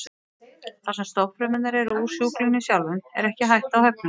Þar sem stofnfrumurnar eru úr sjúklingnum sjálfum er ekki hætta á höfnun.